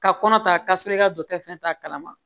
Ka kɔnɔ ta k'a sɔrɔ i ka dɔkitɛri fɛn t'a kalama